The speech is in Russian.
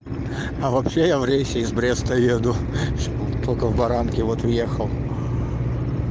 а вообще я в рейсе из бреста еду только в баранки вот въехал